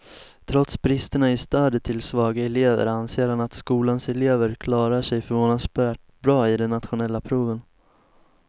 Trots bristerna i stödet till svaga elever anser han att skolans elever klarar sig förvånansvärt bra i de nationella proven.